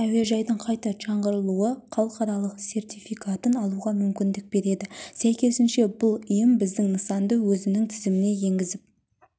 әуежайдың қайта жаңғыртылуы халықаралық сертификатын алуға мүмкіндік береді сәйкесінше бұл ұйым біздің нысанды өзінің тізіміне енгізіп